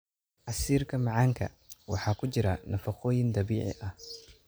Casiirka macaanka waxaa ku jira nafaqooyin dabiici ah.